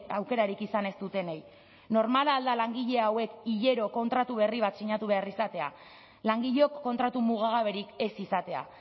aukerarik izan ez dutenei normala al da langile hauek hilero kontratu berri bat sinatu behar izatea langileok kontratu mugagaberik ez izatea